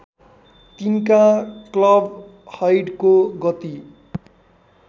तिनका क्लबहैडको गति